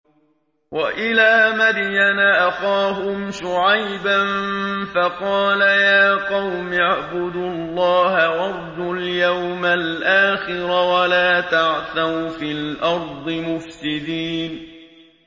وَإِلَىٰ مَدْيَنَ أَخَاهُمْ شُعَيْبًا فَقَالَ يَا قَوْمِ اعْبُدُوا اللَّهَ وَارْجُوا الْيَوْمَ الْآخِرَ وَلَا تَعْثَوْا فِي الْأَرْضِ مُفْسِدِينَ